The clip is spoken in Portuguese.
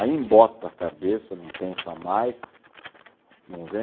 Aí embota a cabeça, não pensa mais, não vem.